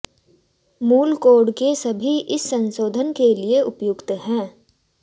मूल कोड के सभी इस संशोधन के लिए उपयुक्त हैं